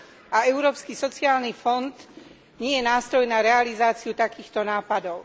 A Európsky sociálny fond nie je nástroj na realizáciu takýchto nápadov.